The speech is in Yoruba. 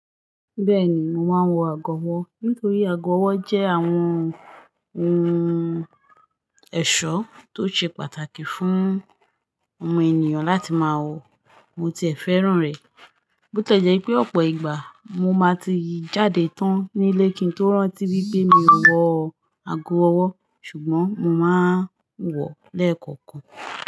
Bẹ́ẹ̀ni, mo máa ń wọ ago ọwọ́ nítorí ago ọwọ́ jẹ́ àwọn ohun ẹ̀ṣọ́ tó ṣe pàtàkì fún ọmọ ènìyàn láti máa wọ, mo ti ẹ̀ fẹ́ràn rẹ̀. Bó ti e jẹ́ pé ọ̀pọ̀ ìgbà mo máa ti jáde tán nílé kí n tó rántí wípé mi ò wọ ago ọwọ́ ṣùgbọ́n mo máa ń wọ̀ lẹ́ẹ̀kọ̀kan.